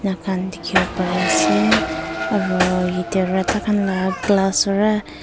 ena khan dikhi wo pari ase aru ete khan la glass ra.